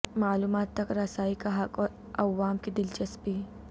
معلومات تک رسائی کا حق اور عوام کی دلچسپی